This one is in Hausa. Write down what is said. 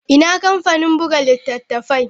Ina kamfanin buga littattafai?